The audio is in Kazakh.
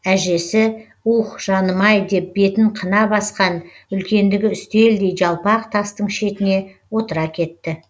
әжесі уһ жаным ай деп бетін қына басқан үлкендігі үстелдей жалпақ тастың шетіне отыра кетті